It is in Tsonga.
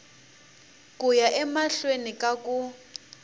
ku ya emahlweni ka ku